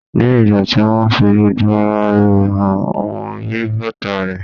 Ní ìgbà tí wón fi gbogbo ara rẹ̀ hàn, mo rí bàtà reẹ̀.